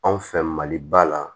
Anw fɛ maliba la